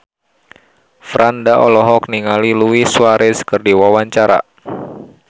Franda olohok ningali Luis Suarez keur diwawancara